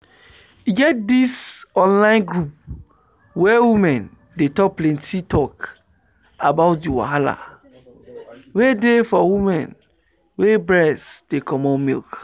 e get this online group where women dey talk plenty talk about the wahala wey dey for women wey breast dey comot milk.